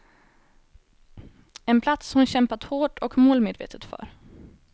En plats hon kämpat hårt och målmedvetet för.